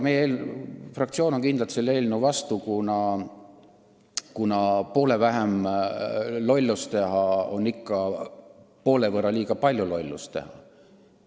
Meie fraktsioon on kindlalt selle eelnõu vastu, kuna poole vähem lollust teha on sama kui ikkagi poole võrra liiga palju lollust teha.